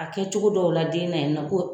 A kɛ cogo dɔw la den na in nɔ ko